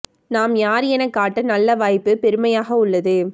நாம் யார் என காட்ட நல்ல வாய்ப்பு பெருமையாக உள்ளது